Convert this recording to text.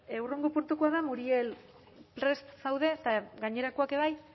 hurrengo puntukoa da muriel prest zaude eta gainerakoak ere bai